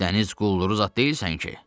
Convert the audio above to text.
Dəniz quldu zad deyilsən ki.